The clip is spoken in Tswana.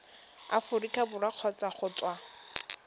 aforika borwa kgotsa go tswa